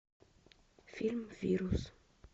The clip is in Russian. фильм вирус